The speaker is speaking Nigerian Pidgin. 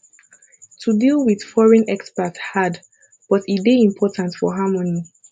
to deal with foreign expat hard but e dey important for harmony